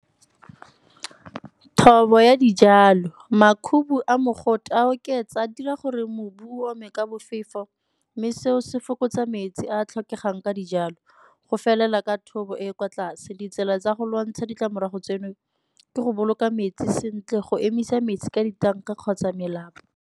Thobo ya dijalo, makhubu a mogote a oketsa a dira gore mobu o ome ka bofefo mme seo se fokotsa metsi a a tlhokegang ka dijalo go felela ka thobo e e kwa tlase. Ditsela tsa go lwantsha ditlamorago tseno ke go boloka metsi sentle go emisa metsi ka ditanka kgotsa melapo.